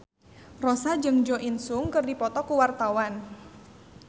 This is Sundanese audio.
Rossa jeung Jo In Sung keur dipoto ku wartawan